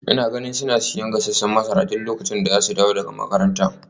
Ina ganin suna siyan gasasshen masara duk lokacin da za su dawo daga makaranta.